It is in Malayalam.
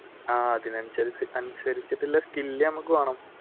ആഹ് അതിനനുസരിച്ചഅനുസരിച്ചിട്ടുള്ള skill നമ്മുക്ക് വേണം.